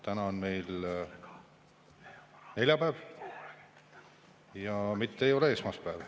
Täna on meil neljapäev ja mitte ei ole esmaspäev.